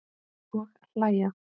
Og hlæja.